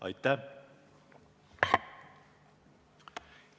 Aitäh!